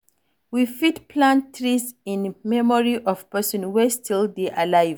You fit plant trees in memory of person wey still dey alive